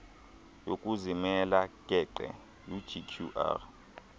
yokuzimela geqe ugqr